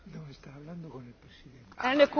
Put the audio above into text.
Elnök úr, tisztelt elnök asszony!